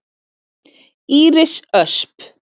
Íris Ösp.